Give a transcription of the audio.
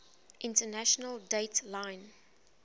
international date line